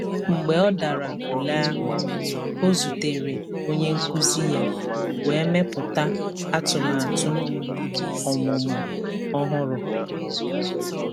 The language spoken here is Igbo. Mgbe ọ dara ule ahụ, ọ zutere onye nkụzi ya wee mepụta atụmatụ ọmụmụ ọhụrụ.